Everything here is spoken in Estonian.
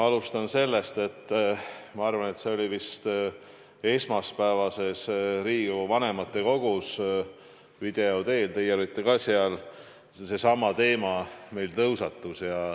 Alustan sellest, et see oli vist esmaspäevases Riigikogu vanematekogus, video teel – teie olite ka seal –, kus seesama teema meil tõusetus.